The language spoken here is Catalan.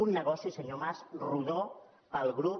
un negoci senyor mas rodó per al grup